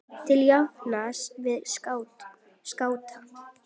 til jafns við skáta.